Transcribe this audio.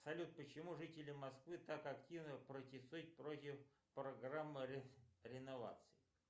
салют почему жители москвы так активно протестуют против программы реновации